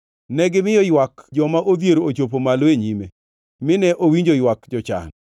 Negimiyo ywak joma odhier ochopo malo e nyime, mine owinjo ywak jochan.